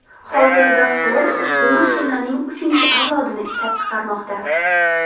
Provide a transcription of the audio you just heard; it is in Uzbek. Hozirda Ford ushbu mashinaning uchinchi avlodini ishlab chiqarmoqda.